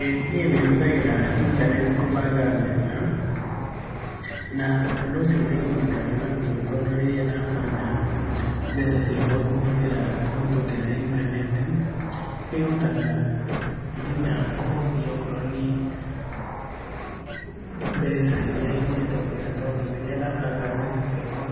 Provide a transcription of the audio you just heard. Ĩĩ niĩ nĩ hũthagĩra intaneti gũbanga mbeca, na ũndũ ũcio nĩ ng'unĩkaga naguo tondũ rĩrĩa ndabanga mbeca ciakwa kũhũthĩra, kũhetũkĩra intaneti, nĩ hotaga nginya kũhũthia okorwo nĩ mbeca iria ingĩtũmĩra tondũ rĩrĩa ndabanga mbeca ciakwa,